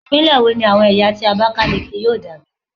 Ipinle wo ni awọn ẹya ti ẹwọn abakaleke yoo dabi